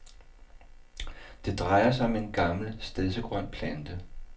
Det drejer sig om en gammel stedsegrøn plante.